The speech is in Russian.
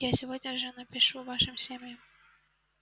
я сегодня же напишу вашим семьям